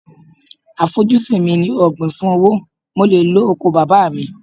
À fojú sí mi ní ọ̀gbìn fún owó, mo le lo oko bàbá mi.